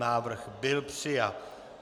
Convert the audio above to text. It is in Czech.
Návrh byl přijat.